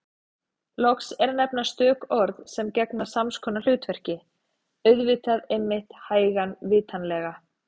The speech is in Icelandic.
Loks er að nefna stök orð sem gegna sams konar hlutverki: auðvitað einmitt hægan vitanlega